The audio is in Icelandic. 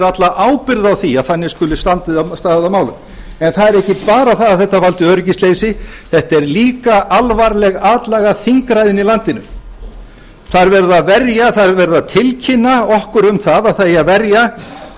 alla ábyrgð á því að þannig skuli staðið að málum en það er ekki bara það að þetta valdi öryggisleysi þetta er líka alvarleg atlaga að þingræðinu í landinu það er verið að tilkynna okkur um að það eigi að verja